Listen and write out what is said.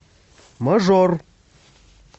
мажор